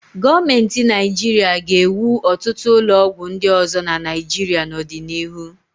Gọọmenti Naịjirịa ga-ewu ọtụt ụlọọgwụ ndị ọzọ na Naịjirịa n'ọdịnihu.